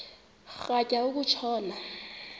rhatya uku tshona